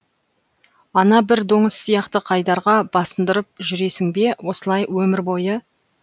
ана бір доңыз сияқты қайдарға басындырып жүресің бе осылай өмір бойы